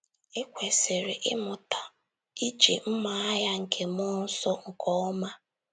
I kwesịrị ịmụta iji “ mma agha nke mmụọ nsọ ” nke ọma